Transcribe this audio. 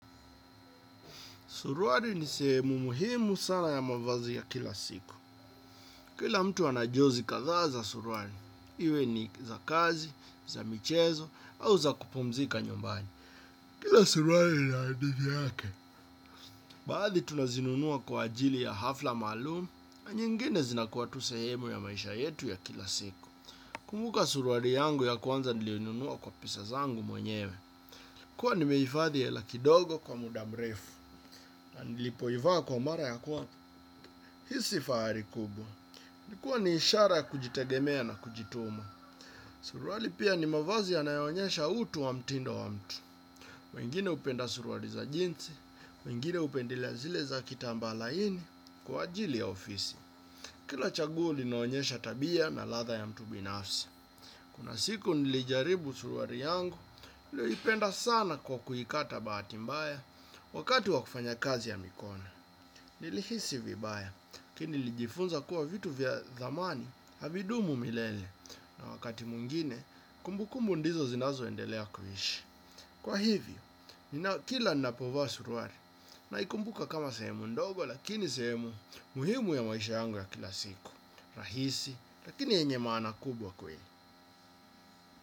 Surwari ni sehemu muhimu sana ya mavazi ya kila siku. Kila mtu anajozi kadhaa za surwari. Iwe ni za kazi, za michezo, au za kupumzika nyombani. Kila surwari lini hadithi yake. Baadhi tunazinunua kwa ajili ya hafla maalum, na nyingine zinakuwa tu sehemu ya maisha yetu ya kila siku. Kumuka surwari yangu ya kwanza niliyoinunua kwa pesa zangu mwenyewe. Kuwa nimeifadhi hela kidogo kwa muda mrefu. Na nilipoivaa kwa mara ya kwa. Hisi fahari kubwa. Nikuwa ni ishara ya kujitegemea na kujituma. Suruali pia ni mavazi yanayonyesha utu wa mtindo wa mtu. Mwingine upenda suruari za jinsi, mwingine upendelea zile za kitamba laini kwa ajili ya ofisi. Kila chaguo linaonyesha tabia na ladha ya mtu binafsi. Kuna siku nilijaribu suruari yangu, ilio ipenda sana kwa kuikata baati mbaya wakati wa kufanya kazi ya mikono. Nilihisi vibaya kini lijifunza kuwa vitu vya dhamani havidumu milele na wakati mwingine kumbukumbu ndizo zinazo endelea kuishi. Kwa hivyo kila napovaa suruari naikumbuka kama sehemu ndogo lakini sehemu muhimu ya maisha yangu ya kila siku rahisi lakini yenye maana kubwa kweli.